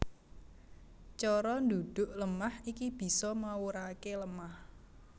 Cara ndhudhuk lemah iki bisa mawuraké lemah